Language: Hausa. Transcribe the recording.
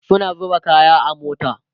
suna zuba kaya a mota